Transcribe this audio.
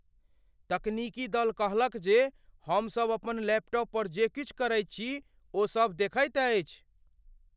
तकनीकी दल कहलक जे हमसभ अपन लैपटॉप पर जे किछु करैत छी ओसभ देखैत अछि।